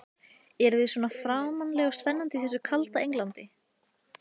Eruð þið svona framandleg og spennandi í þessu kalda Englandi?